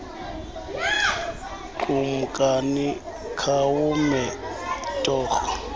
kumkani khawume torho